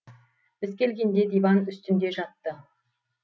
біз келгенде диван үстінде жатты